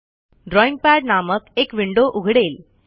drawing pad नामक एक window उघडेल